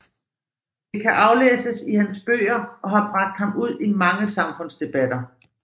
Det kan aflæses i hans bøger og har bragt ham ud i mange samfundsdebatter